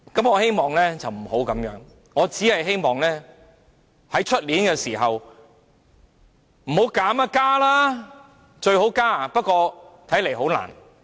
我希望不是這樣，我只希望明年這個時候，不是提出削減，是建議增加，最好增加。